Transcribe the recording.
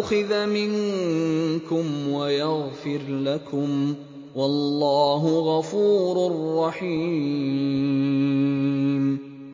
أُخِذَ مِنكُمْ وَيَغْفِرْ لَكُمْ ۗ وَاللَّهُ غَفُورٌ رَّحِيمٌ